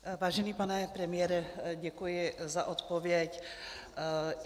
Vážený pane premiére, děkuji za odpověď.